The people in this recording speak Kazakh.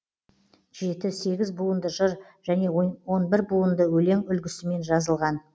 жеті сегіз буынды жыр және он бір буынды өлең үлгісімен жазылған